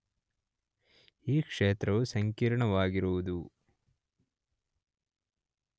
ಈ ಕ್ಷೇತ್ರವು ಸಂಕೀರ್ಣವಾಗಿರುವುದು